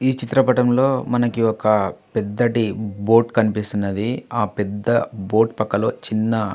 ఈ చిత్రపటంలో మనకి ఒక పెద్దటి బోటు కనిపిస్తుంది. ఆ పెద్ద బోటు పక్కలో చిన్న--